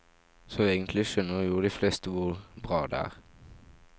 Så egentlig skjønner jo de fleste hvor bra det er?